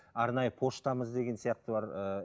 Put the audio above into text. арнайы почтамыз деген сияқты бар ыыы